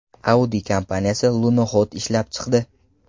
Audi kompaniyasi lunoxod ishlab chiqdi.